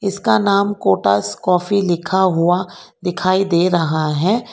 इसका नाम कोटास काफी लिखा हुआ दिखाई दे रहा है।